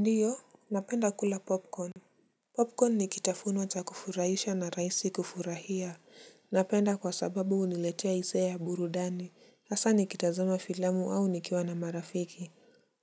Ndiyo napenda kula popcorn. Popcorn ni kitafunwa cha kufurahisha na rahisi kufurahia napenda kwa sababu huniletia hisia ya burudani hasa nikitazama filamu au nikiwa na marafiki.